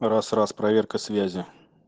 раз раз проверка связи